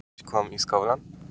En hvernig var fundurinn?